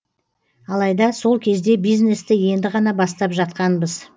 алайда сол кезде бизнесті енді ғана бастап жатқанбыз